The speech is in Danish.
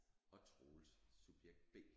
Og Troels subjekt B